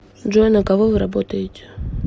джой на кого вы работаете